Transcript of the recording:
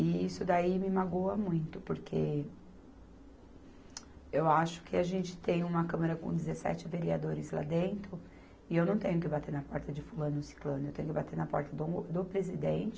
E isso daí me magoa muito, porque eu acho que a gente tem uma Câmara com dezessete vereadores lá dentro, e eu não tenho que bater na porta de fulano ciclano, eu tenho que bater na porta do presidente,